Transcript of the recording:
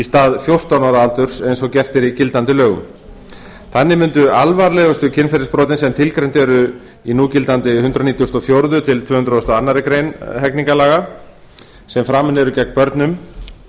stað fjórtán ára aldurs eins og gert er í gildandi lögum þannig mundu alvarlegustu kynferðisbrotin sem tilgreind eru í núgildandi hundrað nítugasta og fjórða tvö hundruð og aðra grein almennra hegningarlaga sem framin